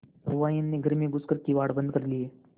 सहुआइन ने घर में घुस कर किवाड़ बंद कर लिये